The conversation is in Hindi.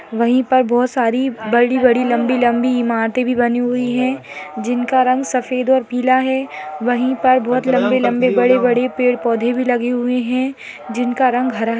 वहीं पर बहुत सारी बड़ी-बड़ी लंबी-लंबी इमारतें भी बनी हुई हैजिनका रंग सफेद और पीला है वहीं पर बहुत लंबी-लंबी बड़ी-बड़ी पेड़ पौधे भी लगे हुए हैं जिनका रंग हरा है।